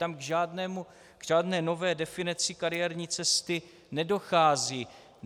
Tam k žádné nové definici kariérní cesty nedochází.